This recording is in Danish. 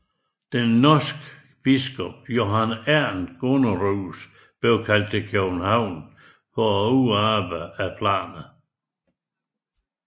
Den norske biskop Johan Ernst Gunnerus blev kaldt til København for at udarbejde planerne